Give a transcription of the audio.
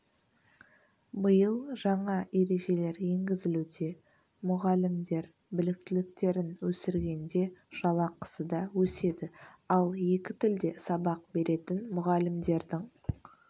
биыл жаңа ережелер енгізілуде мұғалімдер біліктіліктерін өсіргенде жалақысы да өседі ал екі тілде сабақ беретін мұғалімдердің